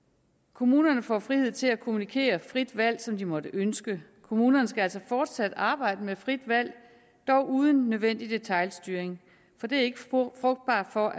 kommunerne får frihed til at kommunikere frit valg som de måtte ønske det kommunerne skal altså fortsat arbejde med frit valg dog uden unødvendig detailstyring for det er ikke spor frugtbart når